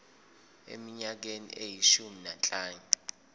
eminyakeni eyishumi nanhlanu